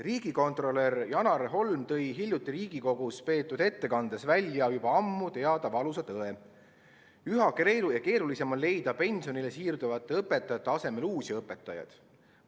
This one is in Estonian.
Riigikontrolör Janar Holm tõi hiljuti Riigikogus peetud ettekandes välja juba ammu teada valusa tõe: üha keerulisem on leida pensionile siirduvate õpetajate asemele uusi õpetajaid.